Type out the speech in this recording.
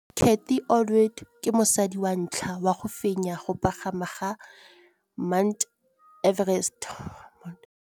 Cathy Odowd ke mosadi wa ntlha wa go fenya go pagama ga Mt Everest.